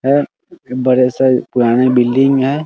है बड़े से पुरानी बिल्डिंग है